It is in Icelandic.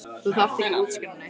Þú þarft ekki að útskýra neitt.